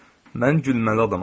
Mən gülməli adamam.